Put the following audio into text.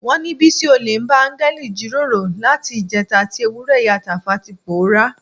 Wọ́n ní Bísí olè bá áńgẹ́lì jíròrò láti ìjẹta tí ewúrẹ́ ìyá Tàfá ti pòórá.